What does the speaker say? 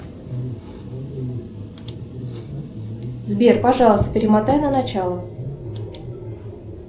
сбер пожалуйста перемотай на начало